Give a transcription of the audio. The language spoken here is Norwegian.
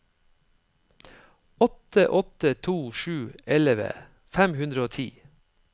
åtte åtte to sju elleve fem hundre og ti